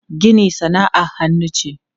Gini sana'ar hannu ce.